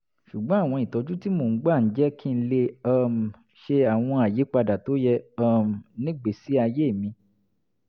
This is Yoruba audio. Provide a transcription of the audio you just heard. ṣùgbọ́n ìtọ́jú tí mo ń gbà ń jẹ́ kí n lè um ṣe àwọn ìyípadà tó yẹ um nígbèésí ayé mi